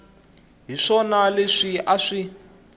hi swona leswi a swi